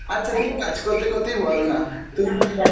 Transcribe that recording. আচ্ছা তুমি কাজ করতে করতেই বলো না তুমি একটা